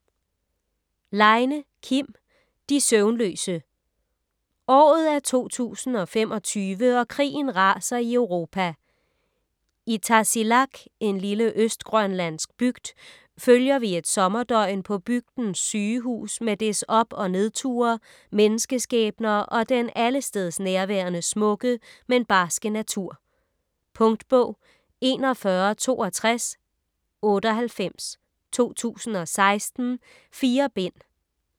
Leine, Kim: De søvnløse Året er 2025 og krigen raser i Europa. I Tasiilaq - en lille østgrønlandsk bygd - følger vi et sommerdøgn på bygdens sygehus med dets op- og nedture, menneskeskæbner og den allestedsnærværende smukke, men barske natur. Punktbog 416298 2016. 4 bind.